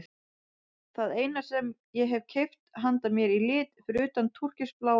Það eina sem ég hef keypt handa mér í lit fyrir utan túrkisbláa sundbolinn.